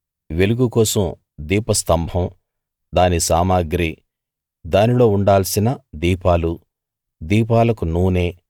వెలుగు కోసం దీప స్థంభం దాని సామగ్రి దానిలో ఉండాల్సిన దీపాలు దీపాలకు నూనె